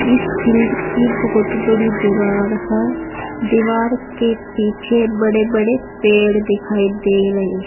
इस फील्ड की बहुत बड़ी दीवार है दीवार के पीछे बड़े बड़े पेड़ दिखाई दे रही है।